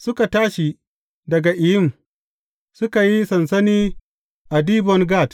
Suka tashi daga Iyim, suka yi sansani a Dibon Gad.